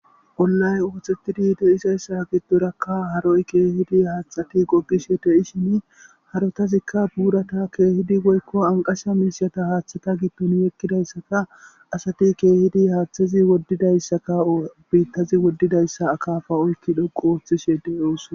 Onnay ooththettidi de'isayssa giddorakka haroy keehidi haathati gogishe de'ishin harotazikka buurata keehidi goykko anqasha miisata haaththata gitton yekkidayssaka asati keehidi haaththazi woddidayssaka biittazi woddidayssa akaafa oykki dhoqu ooththishe de'ooso.